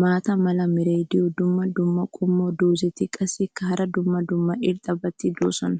maata mala meray diyo dumma dumma qommo dozzati qassikka hara dumma dumma irxxabati doosona.